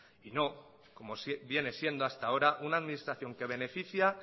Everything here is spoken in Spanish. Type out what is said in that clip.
y no como viene siendo hasta ahora una administración que beneficia